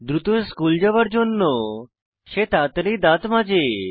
দ্রুত স্কুল যাওয়ার জন্য সে তাড়াতাড়ি দাঁত মাজে